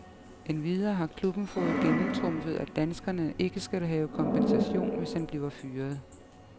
Endvidere har klubben fået gennemtrumfet, at danskeren ikke skal have kompensation, hvis han bliver fyret.